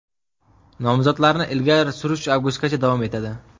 Nomzodlarni ilgari surish avgustgacha davom etadi.